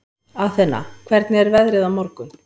Athena, hvernig er veðrið á morgun?